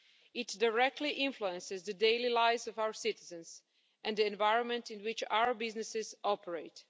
It directly influences the daily lives of our citizens and the environment in which our businesses operate.